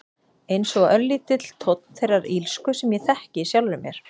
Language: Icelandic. Einsog örlítill tónn þeirrar illsku sem ég þekki í sjálfri mér.